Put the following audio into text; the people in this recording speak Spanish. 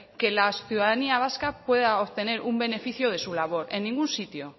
que la ciudadanía vasca pueda obtener un beneficio de su labor en ningún sitio